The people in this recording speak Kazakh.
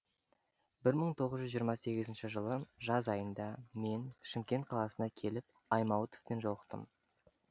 бір мың тоғыз жүз жиырма сегізінші жылы жаз айында мен шымкент қаласына келіп аймауытовпен жолықтым